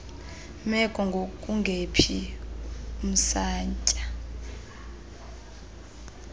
meko ngokungephi umsantsa